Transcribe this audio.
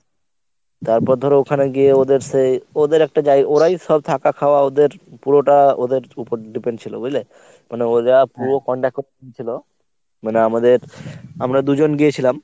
তারপর ধর ওখানে গিয়ে ওদের সে ওদের একটা জায় ওরাই সব থাকা খাওয়া ওদের পুরোটা ওদের উপর depend ছিল বুঝলে? মানে ওরা পুরো contact করে নিছিল মানে আমাদের আমরা ‍দুজন গিয়েছিলাম।